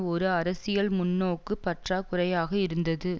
ஒரு அரசியல் முன்னோக்கு பற்றாக்குறையாக இருந்தது